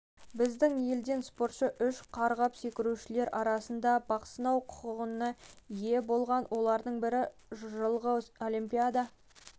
біздің елден спортшы үш қарғып секірушілер арасында бақ сынау құқығына ие болған олардың бірі жылғы олимпиада